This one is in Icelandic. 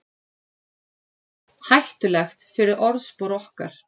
Hættulegt fyrir orðspor okkar